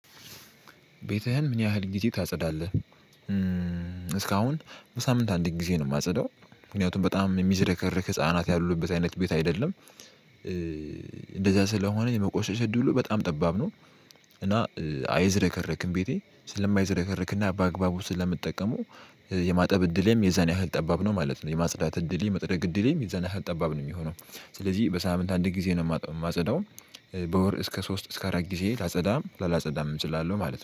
ቤትህን ምን ያህል ግዜ ታጸዳለህ? እስካሁን በሳምንት አንድ ጊዜ ነው የማጸዳው። ምክንያቱም በጣም የሚዝረከረክ ህፃናት ያሉበት አይነት ቤት አይደለም። እንደዛ ስለሆነ የመቆሸሽ እድሉ በጣም ጠባብ ነው። እና አይዘረከረክም ቤቴ ስለማይዘረከረክና በአግባቡ ስለምጠቀመው የማጠብ እድሌም የዛን ያህል ጠባብ ነው ማለት ነው። የማጽዳት እድሌ የመጥረግ እድሌ የዛን ያህል ጠባብ ነው የሚሆነው። ስለዚህ በሳምንት አንድ ጊዜ ነው የማጸዳው። በወር እስከ ሶስት እስከ አራት ጊዜ ላጸዳም ለላጸዳምም እችላለሁ ማለት ነው